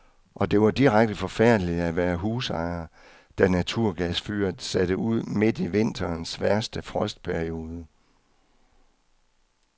Og det var direkte forfærdeligt at være husejer, da naturgasfyret satte ud midt i vinterens værste frostperiode.